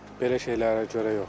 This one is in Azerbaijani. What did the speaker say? Belə şeylərə görə yox.